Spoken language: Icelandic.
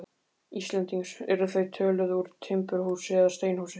Íslendings eru þau töluð úr timburhúsi eða steinhúsi.